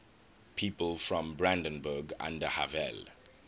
people from brandenburg an der havel